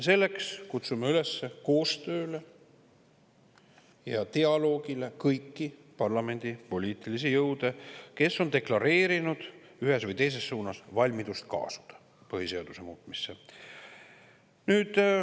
Selleks kutsume üles koostööle ja dialoogile kõiki parlamendi poliitilisi jõude, kes on deklareerinud ühes või teises suunas valmidust kaasuda põhiseaduse muutmisse.